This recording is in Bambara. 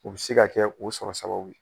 O be se ka kɛ o sɔrɔ sababu ye.